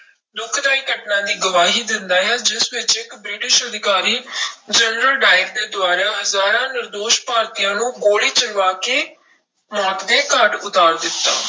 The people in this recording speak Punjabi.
ਦੁਖਦਾਈ ਘਟਨਾ ਦੀ ਗਵਾਹੀ ਦਿੰਦਾ ਹੈ ਜਿਸ ਵਿੱਚ ਇੱਕ ਬ੍ਰਿਟਿਸ਼ ਅਧਿਕਾਰੀ ਜਨਰਲ ਡਾਇਰ ਦੇ ਦੁਆਰਾ ਹਜ਼ਾਰਾਂ ਨਿਰਦੋਸ਼ ਭਾਰਤੀਆਂ ਨੂੰ ਗੋਲੀ ਚਲਵਾ ਕੇ ਮੌਤ ਦੇ ਘਾਟ ਉਤਾਰ ਦਿੱਤਾ।